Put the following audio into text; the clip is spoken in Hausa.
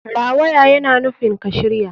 Rawaya yana nufin ka shirya.